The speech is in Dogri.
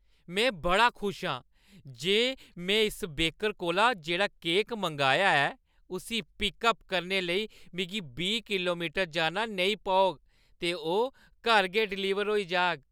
मैं बड़ी खुश आं जे में इस बेकर कोला जेह्ड़ा केक मंगाया ऐ, उस्सी पिक-अप करने लेई मिगी बीह् किलोमीटर जाना नेईं पौग ते ओह् घर गै डिलीवर होई जाह्‌ग।